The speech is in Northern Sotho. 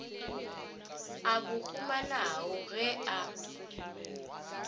a bo humanago ge a